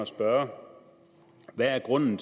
spørge om hvad grunden